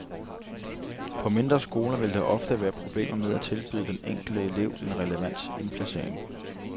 På mindre skoler vil der ofte være problemer med at tilbyde den enkelte elev en relevant indplacering.